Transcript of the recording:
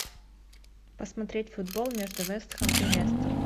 посмотреть футбол между вест хэм и лестер